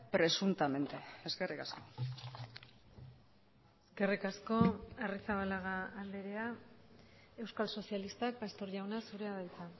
presuntamente eskerrik asko eskerrik asko arrizabalaga andrea euskal sozialistak pastor jauna zurea da hitza